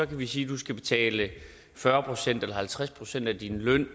vi sige at du skal betale fyrre procent eller halvtreds procent af din løn